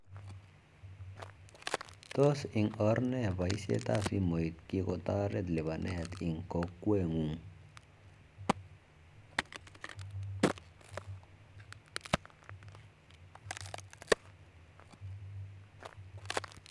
Tos ing or nee paishet ab simoit kikotaret lipanet ing kokwet ngung